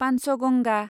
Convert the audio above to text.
Panchganga